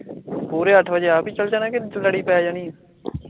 ਪੂਰੇ ਅੱਠ ਵਜੇ ਆਪ ਈ ਚਲ ਜਾਣਾ ਲੜੀ ਪੈ ਜਾਨੀ ਏ